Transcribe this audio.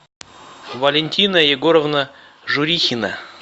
валентина егоровна журихина